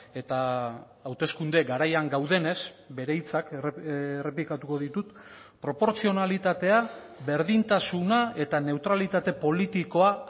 eta hauteskunde garaian gaudenez bere hitzak errepikatuko ditut proportzionalitatea berdintasuna eta neutralitate politikoa